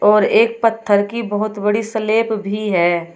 और एक पत्थर की बहोत बड़ी सलेप भी है।